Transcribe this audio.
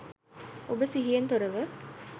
ඔබ සිහියෙන් තොරව